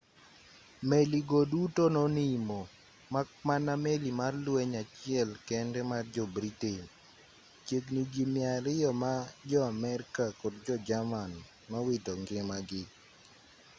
meli go duto nonimo mak mana meli mar lweny achiel kende mar jo-britain chiegni ji 200 ma jo-amerka kod jo-jerman nowito ngimagi